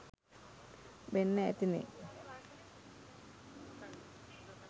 වෙන්න ඇතිනේ.